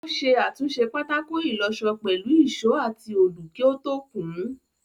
Ó ṣe àtúnṣe pátákó ìlọṣọ pẹ̀lú ìṣó àti olù kí ó tó kùn ún.